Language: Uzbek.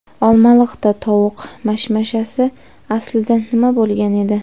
Olmaliqda tovuq mashmashasi: aslida nima bo‘lgan edi?.